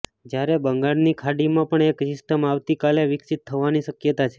જયારે બંગાળની ખાડીમાં પણ એક સિસ્ટમ આવતીકાલે વિકસિત થવાની શકયતા છે